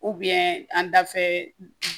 an dafɛ